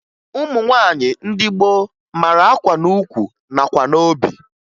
Ụmụ nwaanyị ndị gboo mara akwa n'ukwu nakwa n'obi